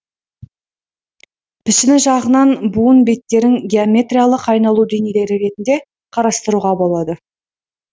пішіні жағынан буын беттерін геометириялық айналу денелері ретінде қарастыруға болады